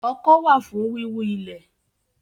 Ọkọ́ wà fún wíwú ilẹ̀